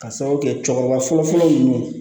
Ka sababu kɛ cɛkɔrɔba fɔlɔ fɔlɔ ninnu ye